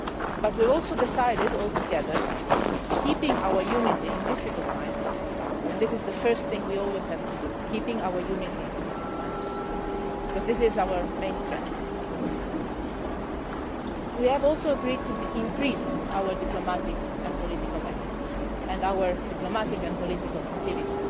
But we have also decided all together, keeping our unity in difficult times and this is the first thing we must always do, keep our unity in difficult times, because this is our main strength we also agreed to increase our diplomatic and political efforts and our diplomatic and political activity.